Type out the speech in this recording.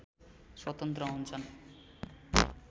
स्वतन्त्र हुन्छन्